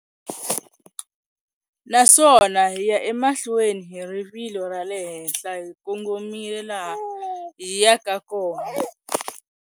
Naswona hi ya emahlweni hi rivilo ra le henhla hi kongomile laha hi yaka kona.